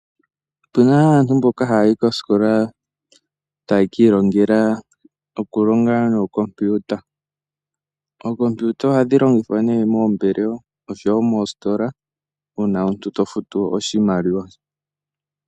Otu na aantu mboka haya yi kosikola taye ki ilongela nookompiyuta. Ookompiuta ohadhi longwa nee moombelewa oshowo moositola uuna omuntu to futu oshimaliwa.